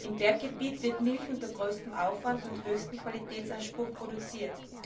Im Berggebiet wird Milch unter größtem Aufwand und mit höchstem Qualitätsanspruch produziert.